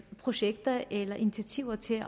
projekter eller initiativer til